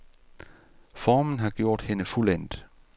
Formen har gjort hende fuldendt.